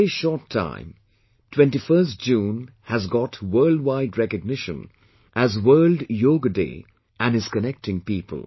In a very short time, 21st June has got worldwide recognition as World Yoga day and is connecting people